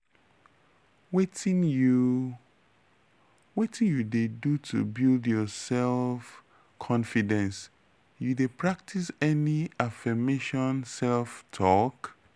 wetin you wetin you dey do to build your self-confidence you dey practice any affirmation self-talk?